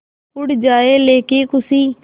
उड़ जाएं लेके ख़ुशी